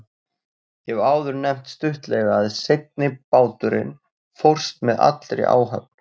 Ég hef áður nefnt stuttlega að seinni báturinn fórst með allri áhöfn.